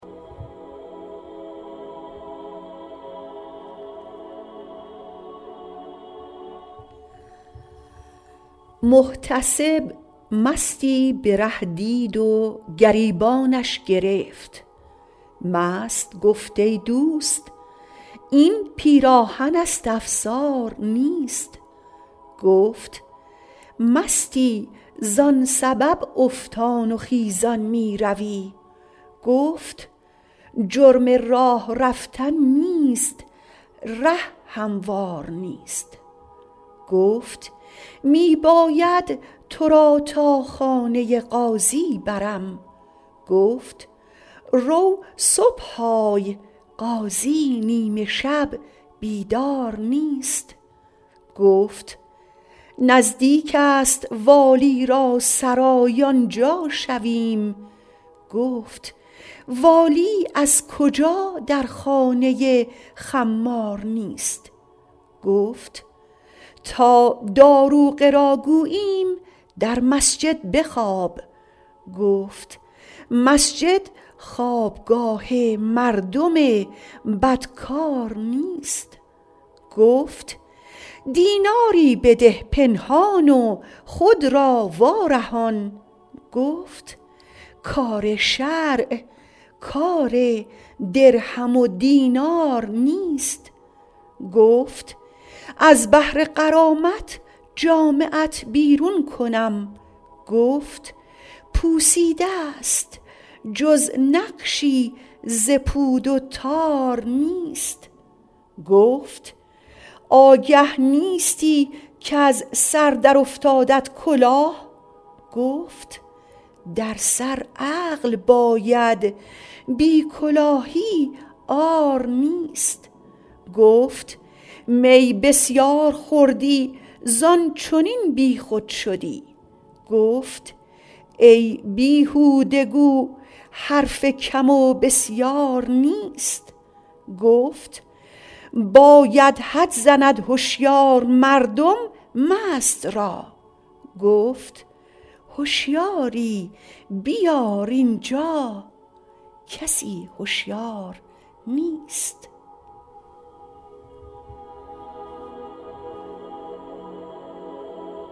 محتسب مستی به ره دید و گریبانش گرفت مست گفت ای دوست این پیراهن است افسار نیست گفت مستی زان سبب افتان و خیزان میروی گفت جرم راه رفتن نیست ره هموار نیست گفت می باید تو را تا خانه قاضی برم گفت رو صبح آی قاضی نیمه شب بیدار نیست گفت نزدیک است والی را سرای آنجا شویم گفت والی از کجا در خانه خمار نیست گفت تا داروغه را گوییم در مسجد بخواب گفت مسجد خوابگاه مردم بدکار نیست گفت دیناری بده پنهان و خود را وارهان گفت کار شرع کار درهم و دینار نیست گفت از بهر غرامت جامه ات بیرون کنم گفت پوسیده ست جز نقشی ز پود و تار نیست گفت آگه نیستی کز سر در افتادت کلاه گفت در سر عقل باید بی کلاهی عار نیست گفت می بسیار خوردی زان چنین بیخود شدی گفت ای بیهوده گو حرف کم و بسیار نیست گفت باید حد زند هشیار مردم مست را گفت هشیاری بیار اینجا کسی هشیار نیست